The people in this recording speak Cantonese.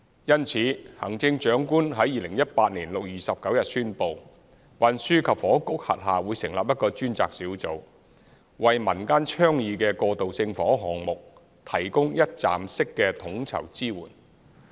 因此，行政長官在2018年6月29日宣布，運輸及房屋局轄下會成立一個專責小組，為民間倡議的過渡性房屋項目，提供一站式的統籌支援。